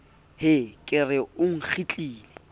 hee ke re o nkgitlile